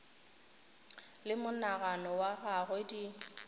le monagano wa gagwe di